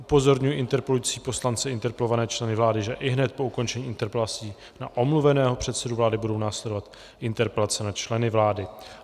Upozorňuji interpelující poslance a interpelované členy vlády, že ihned po ukončení interpelací na omluveného předsedu vlády budou následovat interpelace na členy vlády.